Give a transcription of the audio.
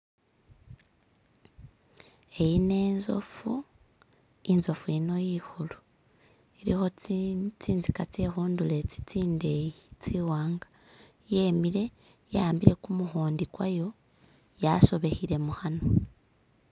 Eyino inzofu, inzofu iyino ikulu iliko zinziga zekunturo ezi zindeyi ziwanga, yimire yawambire gumuhondi gwayo yasobekere mukanwa.